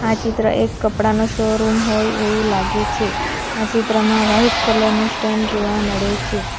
આ ચિત્ર એક કપડાનો શોરૂમ હોય એવું લાગે છે આ ચિત્રમાં વાઈટ કલર નું સ્ટેન્ડ જોવા મળે છે.